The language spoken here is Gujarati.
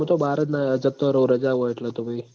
મુ તો બાર જ ના જતો રઉં રજા હોય એટલ તો પહી